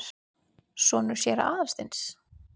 Sonur séra Aðalsteins?